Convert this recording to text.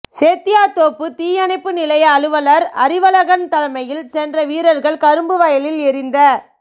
சேத்தியாத்தோப்பு தீயணைப்பு நிலைய அலுவலர் அறிவழகன் தலைமையில் சென்ற வீரர்கள் கரும்பு வயலில் எரிந்த